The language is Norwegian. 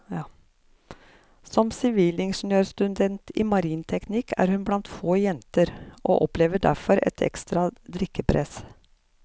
Som sivilingeniørstudent i marinteknikk er hun blant få jenter og opplever derfor et ekstra drikkepress.